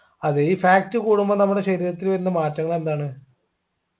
അതെ ഈ fat കൂടുമ്പോ നമ്മുടെ ശരീരത്തിൽ വരുന്ന മാറ്റങ്ങൾ എന്താണ്